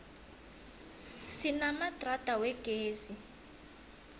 sinamadrada wegezi